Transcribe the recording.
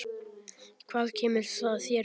Hvað kemur það þér við?